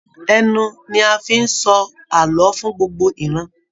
Ẹnu ní a fí n sọ ààlọ́ fún gbogbo ìran.